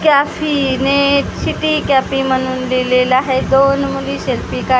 कॅफीने city कॅपी म्हणून लिहिलेलं हाय दोन मुली सेल्फी कड--